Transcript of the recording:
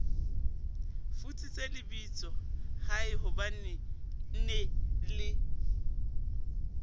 futsitse lebitsola haehobanee nee le